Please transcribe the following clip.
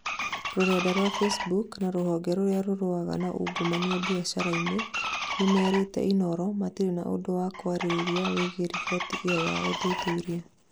rũrenda rwa Facebook na rũhonge rũria rũrũaga na ungumania biashara-inĩ, nimerĩte inooro matire na ũndũ wa kwarĩrĩria wĩgiĩ riboti ĩyo ya ũthuthuria